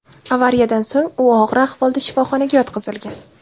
Avariyadan so‘ng u og‘ir ahvolda shifoxonaga yotqizilgan.